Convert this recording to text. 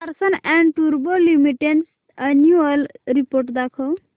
Larsen and टुर्बो limited annual report दाखव